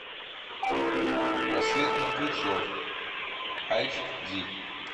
рассвет мертвецов айч ди